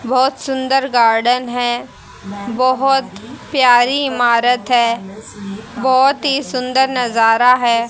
बहुत सुंदर गार्डन है बहुत प्यारी इमारत है बहुत ही सुंदर नजारा है।